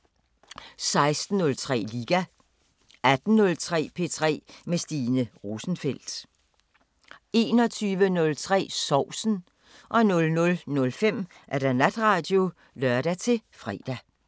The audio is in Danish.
16:03: Liga 18:03: P3 med Stine Rosenfeldt 21:03: Sovsen 00:05: Natradio (lør-fre)